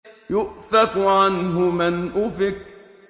يُؤْفَكُ عَنْهُ مَنْ أُفِكَ